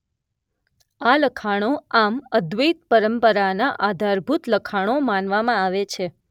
આ લખાણો આમ અદ્વૈત પરંપરાના આધારભૂત લખાણો માનવામાં આવે છે